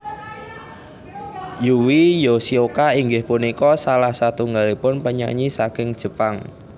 Yui Yoshioka inggih punika salah satunggalipun penyanyi saking Jepang